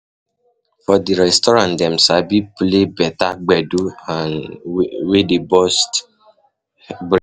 For di restaurant Dem sabi play better gbedu um wey dey burst brain